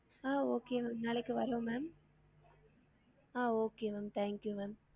ஆஹ் okay ma'am நாளைக்கு வரோம் ma'am ah okay ma'am thank you ma'am